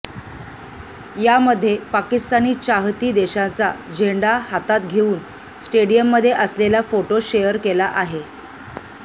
यामध्ये पाकिस्तानी चाहती देशाचा झेंडा हातात घेऊन स्टेडियममध्ये असलेला फोटो शेअर केला आहे